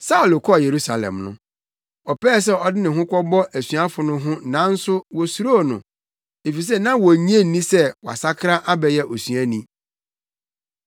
Saulo kɔɔ Yerusalem no, ɔpɛɛ sɛ ɔde ne ho kɔbɔ asuafo no ho nanso wosuroo no, efisɛ na wonnye nni sɛ wasakra abɛyɛ osuani.